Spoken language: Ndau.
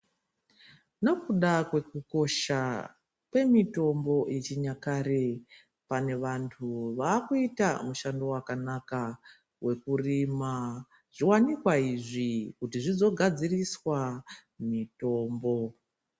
Nekuda kwekukosha kwemitombo yechinyakare pane vanthu vakuita mushando wakanaka wekurima zviwanikwa izvi kuti zvizogadziriswa mitombo.